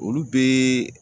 Olu bɛ